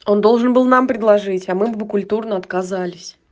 он должен был нам предложить а мы бы культурно отказались